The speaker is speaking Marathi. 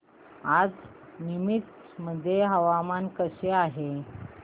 आज नीमच मध्ये हवामान कसे आहे